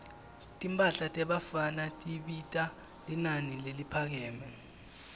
timphahla tebafana tibita linani leliphakeme